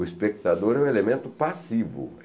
O espectador é o elemento passivo.